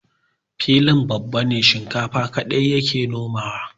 Filin babana shinkafa kaɗai ya ke nomawa.